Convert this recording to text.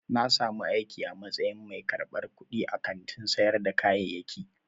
Na samu aiki a matsayin mai karɓar kuɗi a kantin sayar da kayayyaki.